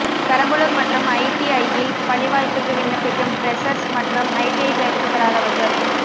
பெரம்பலூர் மற்றும் ஐடிஐயில் பணிவாய்ப்க்கு விண்ணப்பிக்கும் பிரெசர்ஸ் மற்றும் ஐடிஐ பயிற்சி பெறாதவர்கள்